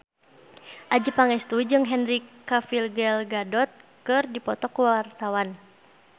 Adjie Pangestu jeung Henry Cavill Gal Gadot keur dipoto ku wartawan